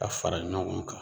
A fara ɲɔgɔn kan